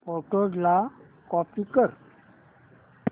photos ला copy कर